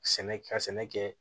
Sɛnɛ ka sɛnɛ kɛ